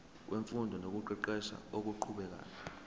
wemfundo nokuqeqesha okuqhubekayo